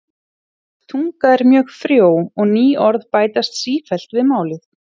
Íslensk tunga er mjög frjó og ný orð bætast sífellt við málið.